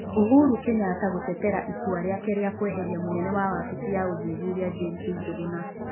Uhuru Kenyatta gũtetera itua rĩake rĩa kweveria mũnene wa wabici ya ũthuthuria James Njũgũna.